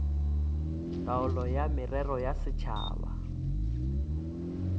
taolo ya merero ya setšhaba